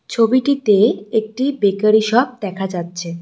ছবিটিতে একটি bakery shop দেখা যাচ্ছে।